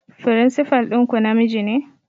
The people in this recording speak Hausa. Firinsifal ɗinku namiji ne?